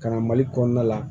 Ka na mali kɔnɔna la